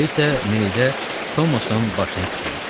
Elə isə meyitə Tomasın başını tikərəm.